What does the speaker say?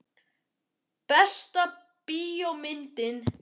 Besta bíómyndin?